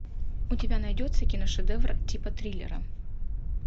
у тебя найдется киношедевр типа триллера